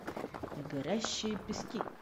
горящие пески